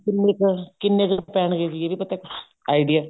ਕਿੰਨੀ ਕ ਕਿੰਨੇ ਕ ਪਹਿਣਗੇ ਵੀ ਇਹਦੇ ਪੱਤੇ idea